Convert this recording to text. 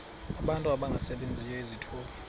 abantu abangasebenziyo izithuba